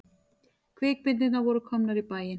Kvikmyndirnar voru komnar í bæinn.